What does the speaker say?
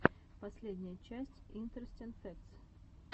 последняя часть интерестин фэктс